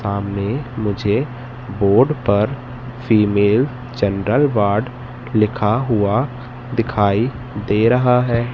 सामने मुझे बोर्ड पर फीमेल जनरल वार्ड लिखा हुआ दिखाई दे रहा है।